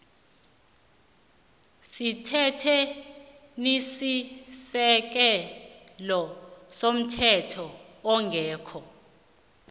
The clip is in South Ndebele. semthethwenisisekelo komthetho ongekho